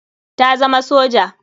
Ta zama soja.